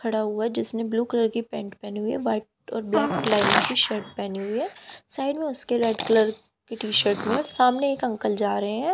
खड़ा हुआ है जिसने ब्लू कलर की पैंट पेहनी हुई है व्हाइट और ब्लैक कलर की शर्ट पेहनी हुई है साइड में उसके रेड कलर की टी शर्ट में सामने एक अंकल जा रहे हैं।